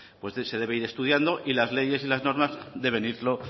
pues se deben ir estudiando y las leyes y las normas deben ir